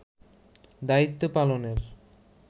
দায়িত্ব পালনের